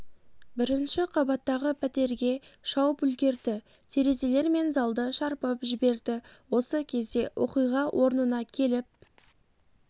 бірінші қабаттағы пәтерге шауып үлгерді терезелер мен залды шарпып жіберді осы кезде оқиға орнына келіп